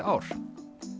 ár